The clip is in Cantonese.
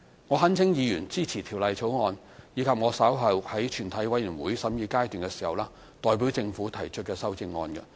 我懇請議員支持《條例草案》，以及我稍後在全體委員會審議時代表政府提出的修正案。